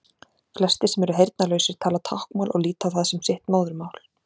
Flestir sem eru heyrnarlausir tala táknmál og líta á það sem sitt móðurmál.